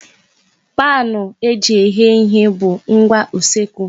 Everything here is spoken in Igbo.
Paanụ eji eghe ihe bụ ngwa usekwu.